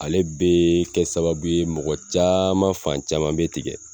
Ale be kɛ sababu mɔgɔ caman fan caman bɛ tigɛ.